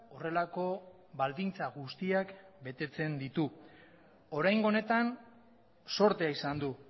horrelako baldintza guztiak betetzen ditu oraingo honetan zortea izan du